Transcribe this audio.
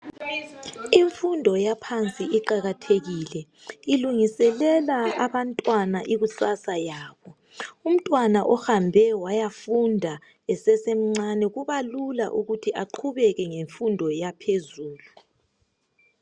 Imfundo yaphansi iqakathekile ilungisela abantu imfundo yabo umntwana omncane ohambe wayafunda kubalula ukuthi aqubeke ngemfundo yaphezulu